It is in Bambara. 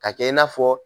Ka kɛ i n'a fɔ